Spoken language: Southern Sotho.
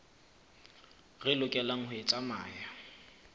re lokelang ho e tsamaya